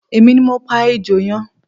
Emi ni mo pa ejò yẹn